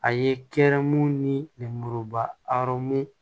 A ye kɛrɛmu nimuruba arɔn